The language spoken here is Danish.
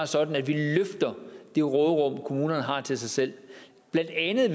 sådan at vi løfter det råderum kommunerne har til sig selv blandt andet